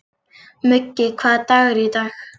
Muggi, hvaða dagur er í dag?